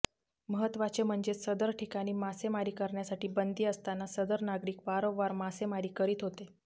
महत्त्वाचे म्हणजे सदर ठिकाणी मासेमारी करण्यासाठी बंदी असताना सदर नागरिक वारंवार मासेमारी करीत होते